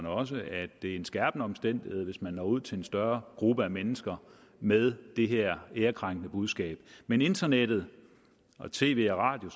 også at det er en skærpende omstændighed hvis man når ud til en større gruppe af mennesker med det her ærekrænkende budskab men internettet og tv og radio